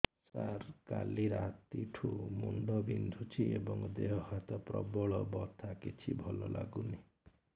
ସାର କାଲି ରାତିଠୁ ମୁଣ୍ଡ ବିନ୍ଧୁଛି ଏବଂ ଦେହ ହାତ ପ୍ରବଳ ବଥା କିଛି ଭଲ ଲାଗୁନି